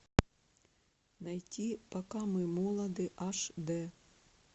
найти пока мы молоды аш д